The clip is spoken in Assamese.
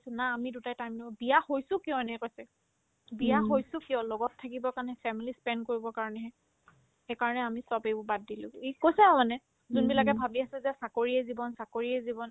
না আমি দুটাই time দিব বিয়া হৈছো কিয় এনেকে কৈছে বিয়া হৈছো কিয় লগত থাকিবৰ কাৰণে family spend কৰিবৰ কাৰণেহে সেইকাৰণে আমি চব এইবোৰ বাদ দিলোগে ইক কৈছে আৰু মানে যোনবিলাকে ভাবি আছে যে চাকৰিয়ে জীৱন চাকৰিয়ে জীৱন